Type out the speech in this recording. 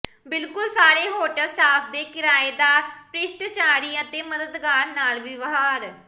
ਬਿਲਕੁਲ ਸਾਰੇ hotel staff ਦੇ ਕਿਰਾਏਦਾਰ ਿਸ਼ਸ਼ਟਾਚਾਰੀ ਅਤੇ ਮਦਦਗਾਰ ਨਾਲ ਵਿਵਹਾਰ